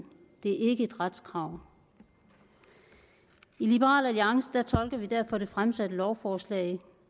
det er ikke et retskrav i liberal alliance tolker vi derfor det fremsatte lovforslag